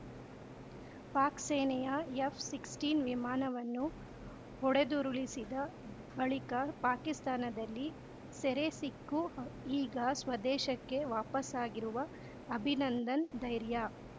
ಪಾಕ್‌ ಸೇನೆಯ ಎಫ್‌ಸಿಕ್ಸ್ಟೀನ್ ವಿಮಾನವನ್ನು ಹೊಡೆದುರುಳಿಸಿದ ಬಳಿಕ ಪಾಕಿಸ್ತಾನದಲ್ಲಿ ಸೆರೆಸಿಕ್ಕು ಈಗ ಸ್ವದೇಶಕ್ಕೆ ವಾಪಸಾಗಿರುವ ಅಭಿನಂದನ್‌ ಧೈರ್ಯ